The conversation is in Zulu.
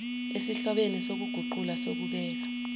esihlobene sokuguqula sokubeka